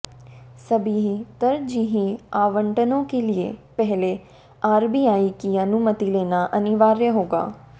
सभी तरजीही आवंटनों के लिए पहले आरबीआई की अनुमति लेना अनिवार्य होगा